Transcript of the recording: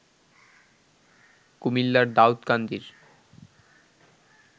কুমিল্লার দাউদকান্দির